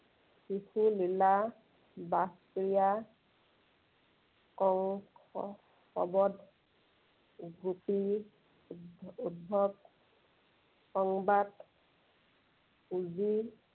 শিশুলীলা, ৰাস ক্ৰীড়া, কংস বধ, গোপী-উদ্ধৱ সংবাদ, কুঁজীৰ